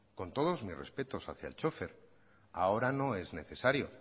con todos mis respetos hacía el chofer ahora no es necesario